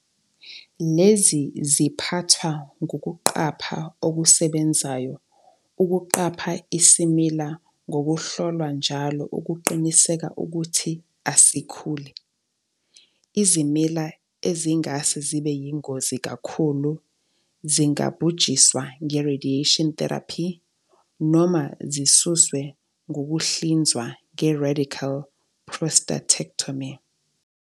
Lezi ziphathwa ngokuqapha okusebenzayo, ukuqapha isimila ngokuhlolwa njalo ukuqinisekisa ukuthi asikhule. Izimila ezingase zibe yingozi kakhulu zingabhujiswa nge-radiation therapy noma zisuswe ngokuhlinzwa nge-I-radical prostatectomy.